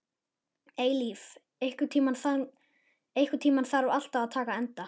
Eilíf, einhvern tímann þarf allt að taka enda.